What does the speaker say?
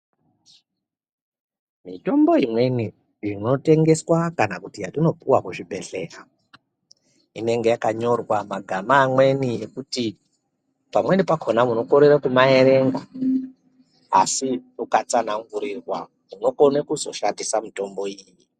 Mitombo imweni inotengeswa kana kuti yatinopuwa kuzvibhedhlera inenge yakanyorwa magama amweni ekuti pamweni pakona munokorera kumaerenga asi ukatsanangurirwa unokona kuzoshandisa mitombo iyi.